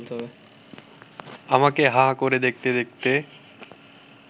আমাকে হাঁ করে দেখতে দেখতে